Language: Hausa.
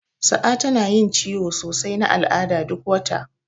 Sa'a tana yin ciwon sosai na al'ada duk wata.